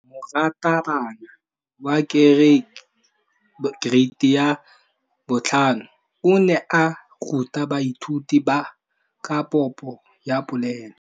Moratabana wa kereiti ya 5 o ne a ruta baithuti ka popô ya polelô.